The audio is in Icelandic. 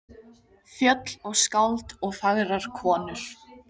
Fjöll og skáld og fagrar konur.